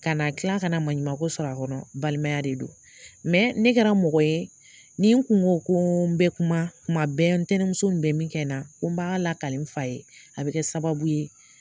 Kana kila kana maɲumanko sɔrɔ a kɔnɔ balimaya de don ne kɛra mɔgɔ ye, ni n kun go ko bɛ kuma, kuma bɛ ntɛnɛmuso nin bɛ min kɛ na, n ko b'a lakalen n fa ye a bɛ kɛ sababu ye.